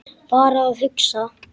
Bara að hugsa.